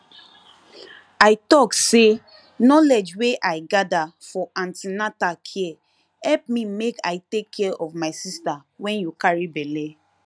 i talk say knowledge wey i gather for an ten atal care help me make i take care of my sister when you carry belle